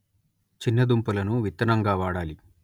చిన్న దుంపలను విత్తనంగా వాడాలి